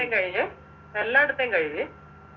കഴിഞ്ഞ് എല്ലാടതേം കഴിഞ്ഞ്